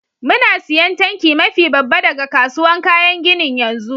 Muna siyan tanki mafi babba daga kasuwan kayan ginin yanzu.